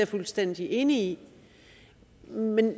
fuldstændig enig i